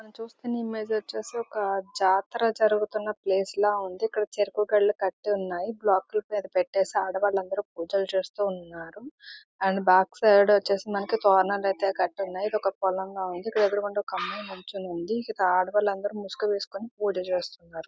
ఇక్కడ చూస్తున ఇమేజ్ వచ్చేసి ఒక జాతర జరుగుతున్నా ప్లేస్ లాగా ఉంది . ఇక్కడ చెరుకు గడలు కట్టి ఉన్నాయి.బ్లాక్ ల మీద పెట్టేసి ఆడ వాళ్ళు అందరూ పూజలు చేస్తు ఉన్నారు. అండ్ బ్యాక్ సైడ్ వచ్చేసి మనకి తోరణం అయితే కట్టి ఉన్నాయి. ఇది ఒక పొల్లం లాగా ఉంది. ఇక్కడ ఎదురు గుండా ఒక అమ్మాయి నించొని ఉంది ఇక్కడ ఆడవాళ్ళు అందరూ ముసుగు వేసికొని పూజలు చేస్తున్నారు.